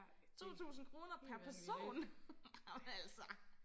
2000 kroner per person men altså